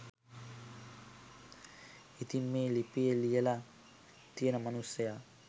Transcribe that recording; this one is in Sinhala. ඉතින් මේ ලිපිය ලියලා තියෙන මනුස්සයා